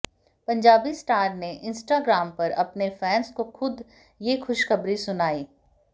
Punjabi star ने Instagram पर अपने फैन्स को खुद ये खुशखबरी सुनाई